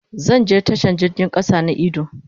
Zan je tashan jirgin kasa na idu.